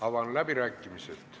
Avan läbirääkimised.